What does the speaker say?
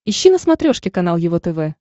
ищи на смотрешке канал его тв